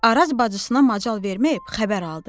Araz bacısına macal verməyib xəbər aldı.